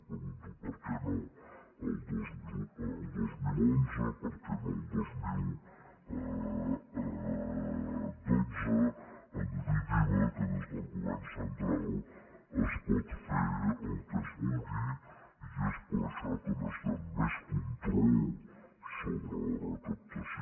pregunto per què no el dos mil onze per què no el dos mil dotze a nivell d’iva que des del govern central es pot fer el que es vulgui i és per això que necessitem més control sobre la recaptació